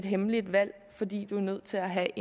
hemmelige valg fordi de er nødt til at have